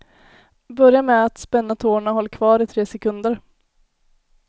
Börja med att spänna tårna och håll kvar i tre sekunder.